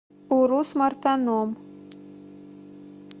урус мартаном